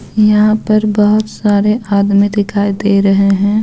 यहां पर बहुत सारे आदमी दिखाई दे रहे हैं.